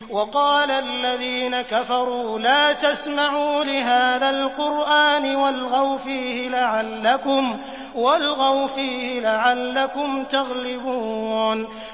وَقَالَ الَّذِينَ كَفَرُوا لَا تَسْمَعُوا لِهَٰذَا الْقُرْآنِ وَالْغَوْا فِيهِ لَعَلَّكُمْ تَغْلِبُونَ